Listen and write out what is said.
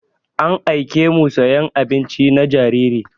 An aiƙe mu sayan abinci na jariri.